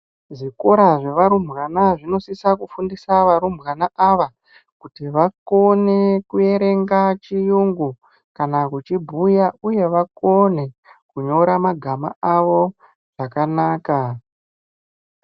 Zvikora zvevarumbwana zvinosisa kufundiswa varumbwana ava kuti vakone kuerenga chiyungu kana kuchibhuya uye vakone kunyora magama avo zvakanaka.